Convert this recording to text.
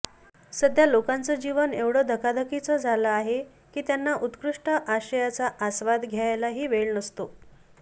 सध्या लोकांचं जीवन एवढं धकाधकीचं झालं आहे की त्यांना उत्कृष्ट आशयाचा आस्वाद घ्यायलाही वेळ नसतो